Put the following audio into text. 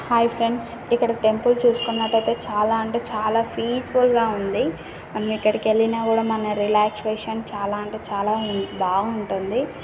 Hi friends ఇక్కడ temple చూసుకున్నట్లయితే చాలా అంటే చాలా పీస్ ఫుల్ గా ఉంది మనం అక్కడికి వెళ్లినా కూడా మన రిలాక్సేషన్ చాలా అంటే చాలా ఉం బాగుంటుంది.